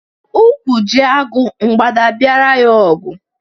Ụkwụ ji agụ, mgbada a biara ya ọgụ